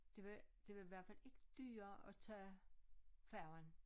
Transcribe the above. Det var det var i hvert fald ikke dyrere at tage færgen